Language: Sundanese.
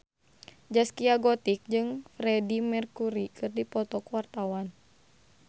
Zaskia Gotik jeung Freedie Mercury keur dipoto ku wartawan